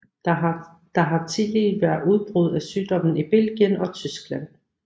Der har tillige været udbrud af sygdommen i Belgien og Tyskland